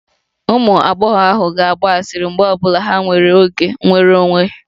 Ụmụ agbọghọ ahụ ga-agba asịrị mgbe ọ bụla ha nwere oge nnwere onwe